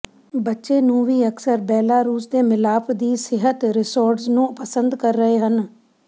ਬੱਚੇ ਨੂੰ ਵੀ ਅਕਸਰ ਬੇਲਾਰੂਸ ਦੇ ਮਿਲਾਪ ਦੀ ਸਿਹਤ ਰਿਜ਼ੋਰਟਜ਼ ਨੂੰ ਪਸੰਦ ਕਰ ਰਹੇ ਹਨ